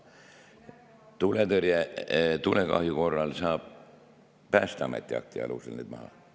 Tulekahju korral saab Päästeameti akti alusel arvelt maha võtta.